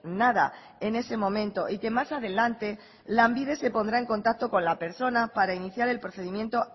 nada en ese momento y que más adelante lanbide se pondrá en contacto con la persona para iniciar el procedimiento